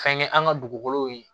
Fɛnkɛ an ka dugukolow ye